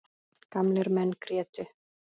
Gamlir menn grétu.